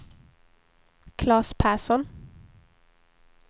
Klas Persson